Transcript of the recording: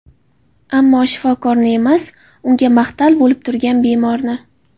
Ammo shifokorni emas, unga mahtal bo‘lib turgan bemorni.